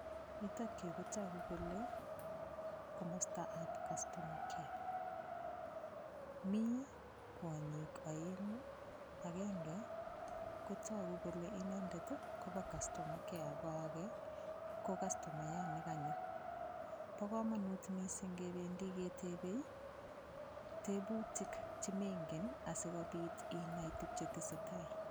Yutokyu kotoku kole komastab customer care, mi kwonyik aengu akenge ko toku kole inendet ii kobo customer care ko age ko kastomayat ne kanyo. Bo kamanut mising kebendi ketebei ii, tebutik che mengen asikobit inai tug che tesetai.